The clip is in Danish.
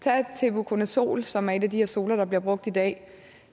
tag tebuconazol som er et af de her zoler der bliver brugt i dag